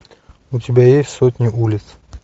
у тебя есть сотни улиц